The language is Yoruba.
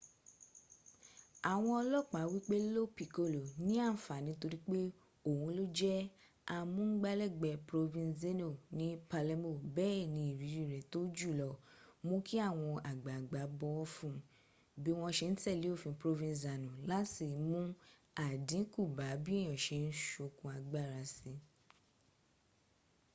àwọn olopa wípé lo piccolo ní ànfàní torípé òhun ló jẹ́ amúngbálẹ́gbẹ̀ẹ́ provenzano ni palermo béèni iriri rẹ̀ tó jùlọ múu kí àwọn àgbààgbà bọ̀wọ̀ fun bí wọn ṣe n tẹ́lẹ̀ òfin provenzano láti mún àdínkù bá bí èèyàn ṣe ń sokùn agbára sí